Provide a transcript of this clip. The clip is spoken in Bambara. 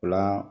O la